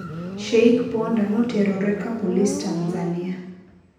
Sheikh Ponda noterore kapolis Tanzania